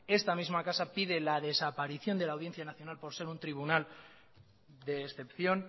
esta misma casa pide la desaparición de la audiencia nacional por se un tribunal de excepción